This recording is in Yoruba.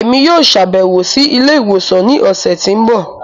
Emi yoo ṣabẹwo si ile-iwosan ni ọsẹ ti n bọ.